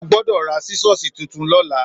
Ò gbọdọ rà sísọsí titún lọlà.